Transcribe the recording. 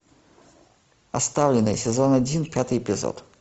оставленные сезон один пятый эпизод